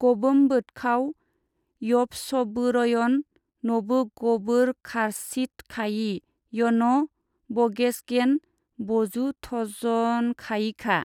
गबोमबोथखाव यबसबोरयन नबोगबोरखारचीथखायि यन' बगेसगेन बजुथजनखायिखा।